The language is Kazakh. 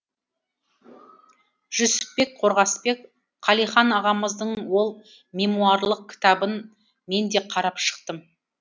жүсіпбек қорғасбек қалихан ағамыздың ол мемуарлық кітабын мен де қарап шықтым